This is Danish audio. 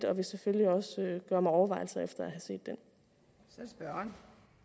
og vil selvfølgelig også gøre mig overvejelser efter at have set den